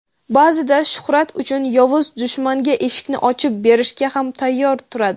ba’zida shuhrat uchun yovuz dushmanga eshikni ochib berishga ham tayyor turadi.